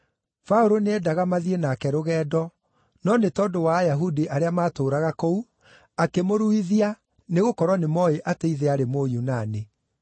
Paũlũ nĩendaga mathiĩ nake rũgendo, no nĩ tondũ wa Ayahudi arĩa maatũũraga kũu, akĩmũruithia nĩgũkorwo nĩmooĩ atĩ ithe aarĩ Mũyunani.